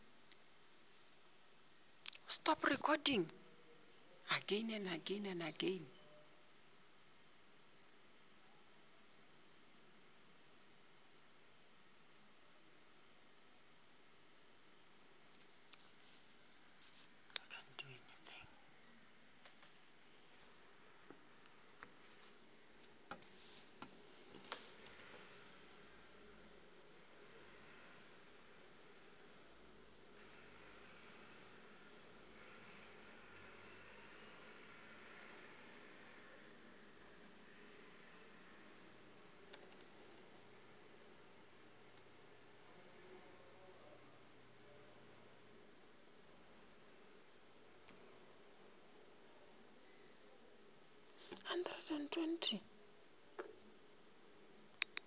tšeo di swanetšego go swarwa